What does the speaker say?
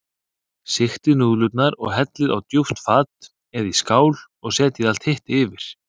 Sigtið núðlurnar og hellið á djúpt fat eða í skál og setjið allt hitt yfir.